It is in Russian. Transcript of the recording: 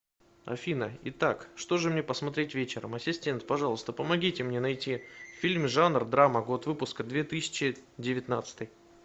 афина итак что же мне посмотреть вечером ассистент пожалуйста помогите мне найти фильм жанр драма год выпуска две тысячи девятнадцатый